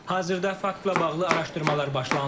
Hazırda faktla bağlı araşdırmalar başlanılıb.